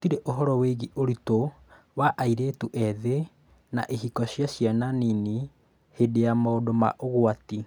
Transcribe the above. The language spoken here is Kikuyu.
Gũtirĩ ũhoro wĩgiĩ ũritũ wa airĩtũ ethĩ na ihiko cia ciana nini hĩndĩ ya maũndũ ma ũgwati